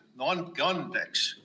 No andke andeks!